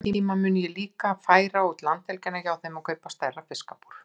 Einhvern tíma mun ég líka færa út landhelgina hjá þeim og kaupa stærra fiskabúr.